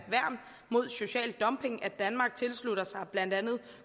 mod social dumping at danmark tilslutter sig blandt andet